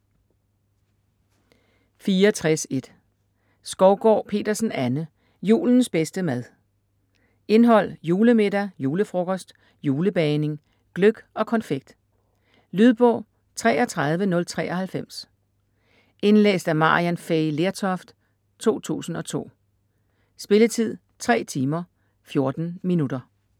64.1 Skovgård-Petersen, Anne: Julens bedste mad Indhold: Julemiddag; Julefrokost; Julebagning; Gløgg og konfekt. Lydbog 33093 Indlæst af Maryann Fay Lertoft, 2002. Spilletid: 3 timer, 14 minutter.